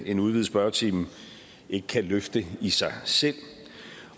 en udvidet spørgetime ikke kan løfte i sig selv